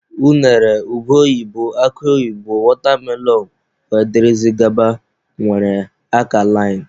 Unere, ube oyibo, akụ oyibo, watermelon wdg nwere akalain.